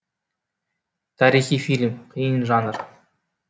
тарихи фильм қиын жанр